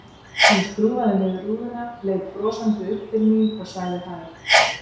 Hann skrúfaði niður rúðuna, leit brosandi upp til mín og sagði hæ.